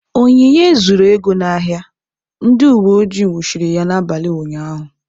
Onyinye zuru ego n'ahịa, ndị uweojii nwụchiri ya n'abalị ụnyahụ.